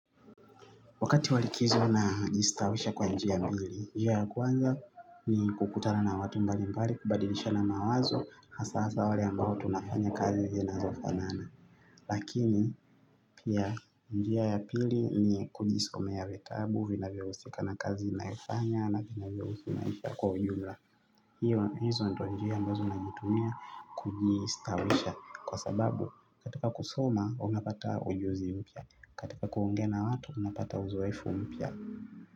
Wakati wa likizo najistawisha kwa njia mbili, njia ya kwanza ni kukutana na watu mbalimbali, kubadilishana mawazo, hasa hasa wale ambao tunafanya kazi zinazofanana. Lakini, pia njia ya pili ni kujisomea vitabu, vinavyohusika na kazi nayoifanya na vinavyo husu maisha kwa ujumla. Hizo ndio njia ambazo nazitumia kujistawisha kwa sababu katika kusoma unapata ujuzi mpya katika kuongea na watu unapata uzoefu mpya.